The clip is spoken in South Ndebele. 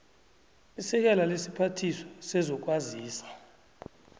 isekela lesiphathiswa sezokwazisa